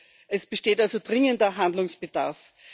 EUR. Es besteht also dringender Handlungsbedarf.